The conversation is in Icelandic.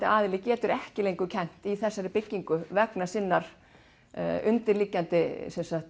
aðili getur ekki kennt í þessari byggingu vegna sinnar undirliggjandi